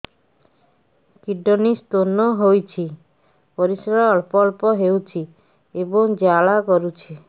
kidney stone ହୋଇଛି ପରିସ୍ରା ଅଳ୍ପ ଅଳ୍ପ ହେଉଛି ଏବଂ ଜ୍ୱାଳା କରୁଛି